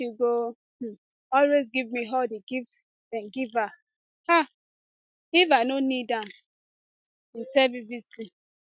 she go um always give me all di gift dem give her um even if i no need am im tell bbc